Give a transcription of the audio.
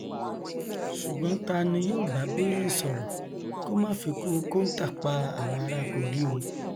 ṣùgbọn ta ni yóò bá bello sọrọ kó má fikú kóńtà pa àwọn ará kogi o